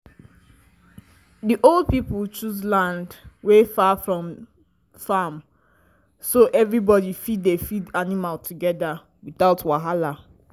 the old pipo choose land wey far from farm so everybody fit dey feed animal together without wahala.